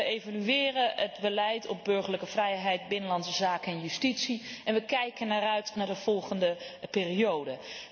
Wij evalueren het beleid op burgerlijke vrijheid, binnenlandse zaken en justitie, en wij kijken uit naar de volgende periode.